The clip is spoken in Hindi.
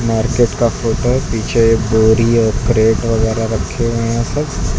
मार्केट का फोटो है पीछे एक बोरी और क्रेट वगैरह रखे हुए हैं सब।